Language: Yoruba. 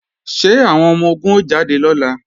Ṣé àwọn ọmọ-ogun ó jáde lọ́la?